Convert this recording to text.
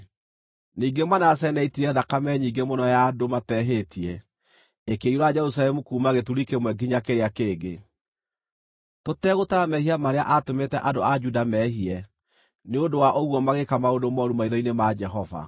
Ningĩ Manase nĩaitire thakame nyingĩ mũno ya andũ matehĩtie, ĩkĩiyũra Jerusalemu kuuma gĩturi kĩmwe nginya kĩrĩa kĩngĩ, tũtegũtara mehia marĩa aatũmĩte andũ a Juda meehie, nĩ ũndũ wa ũguo magĩĩka maũndũ mooru maitho-inĩ ma Jehova.